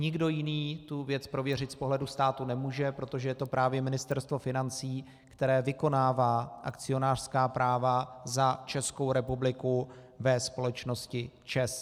Nikdo jiný tu věc prověřit z pohledu státu nemůže, protože je to právě Ministerstvo financí, které vykonává akcionářská práva za Českou republiku ve společnosti ČEZ.